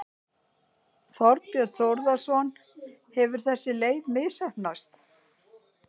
Þorbjörn Þórðarson: Hefur þessi leið misheppnast?